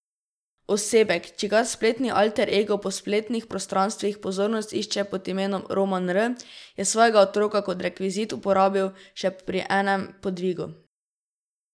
Osebek, čigar spletni alter ego po spletnih prostranstvih pozornost išče pod imenom Roman R, je svojega otroka kot rekvizit uporabil še pri enem podvigu.